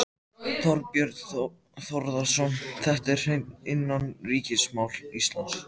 Þorbjörn Þórðarson: Þetta er hreint innanríkismál Íslands?